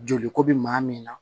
Joli ko bɛ maa min na